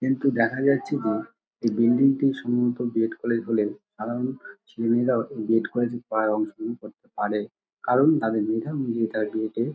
কিন্ত দেখা যাচ্ছে যে এই বিল্ডিং -টি সম্ভবত বি .এড কলেজ হলে সাধারণত ছেলেমেয়েরা বি .এড কলেজ পড়ায় অংশ গ্রহণ করতে পারে | কারন তাদের মেধা অনুযায়ী তারা বি .এড -এ --